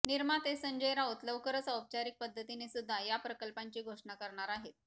निर्माते संजय राऊत लवकरच औपचारिक पद्धतीने सुद्धा या प्रकल्पांची घोषणा करणार आहेत